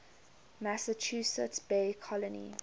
massachusetts bay colony